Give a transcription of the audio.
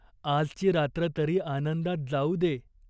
आजची रात्र तरी आनंदात जाऊ दे.